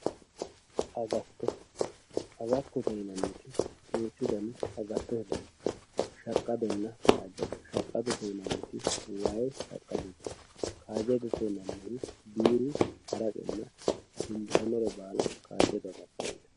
agatto agattote yinanniti duuchu daniti agattote dani no shaqqadonna kaajjado shaqadote yinanniti wayi shaqqadote kaajjadote yinanniti biiru haraqenna dimbisannore baala kaajjado agatto yinanni.